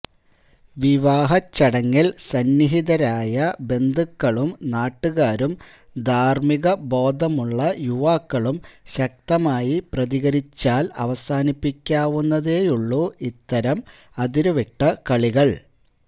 വിവാഹച്ചടങ്ങില് സന്നിഹിതരായ ബന്ധുക്കളും നാട്ടുകാരും ധാര്മിക ബോധമുള്ള യുവാക്കളും ശക്തമായി പ്രതികരിച്ചാല് അവസാനിപ്പിക്കാവുന്നതേയുള്ളൂ ഇത്തരം അതിരുവിട്ട കളികള്